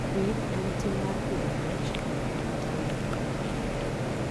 Pith en tim mar pidho rech, winy kata le